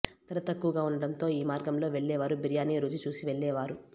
ధర తక్కువగా ఉండటంతో ఈ మార్గంలో వెళ్లేవారు బిర్యానీ రుచి చూసి వెళ్లేవారు